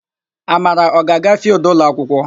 Amara, ọ ga-aga fịịldụ ụlọakwụkwọ?